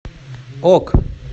ок